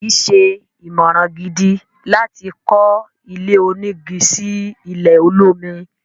kìí ṣe ìmọ̀ràn gidi láti kọ́ ilé onígi sí ilẹ̀ olómi.